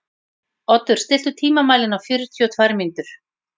Oddur, stilltu tímamælinn á fjörutíu og tvær mínútur.